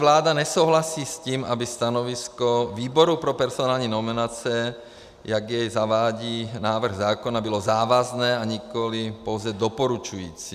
Vláda nesouhlasí s tím, aby stanovisko výboru pro personální nominace, jak jej zavádí návrh zákona, bylo závazné a nikoli pouze doporučující.